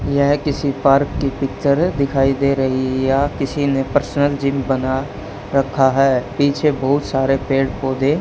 यह किसी पार्क की पिक्चर दिखाई दे रही है किसी ने पर्सनल जिम बना रखा है पीछे बहुत सारे पेड़ पौधे--